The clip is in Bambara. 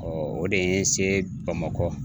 o de ye n se Bamakɔ